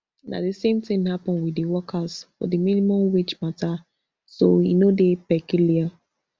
na di same tin happen wit di workers for di minimum wage matter so e no dey peculiar